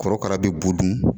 Korokara bɛ bo dun.